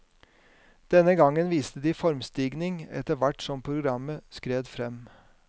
Denne gangen viste de formstigning etter hvert som programmet skred frem.